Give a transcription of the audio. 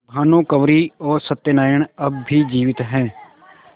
भानुकुँवरि और सत्य नारायण अब भी जीवित हैं